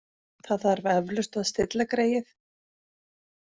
Það þarf eflaust að stilla greyið.